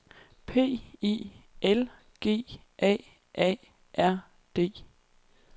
P I L G A A R D